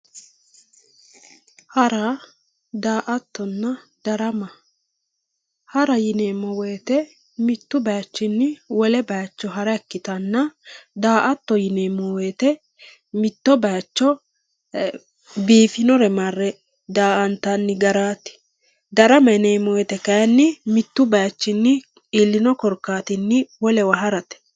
hara daa"attonna darama hara yineemmo woyiite mittu bayiichinni wole bayiicho hara ikkitanna daa"atto yineemmo woyiite mitto bayiicho biifinore marre daa"antanni garaati darama yineemmowoyiite kayiinni mittu bayiichinni iillino korkaattinni wolewa harate.